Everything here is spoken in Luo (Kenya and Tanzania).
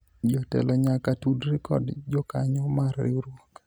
jotelo nyaka tudre kod jokanyo mar riwruok